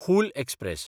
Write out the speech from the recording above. Hul express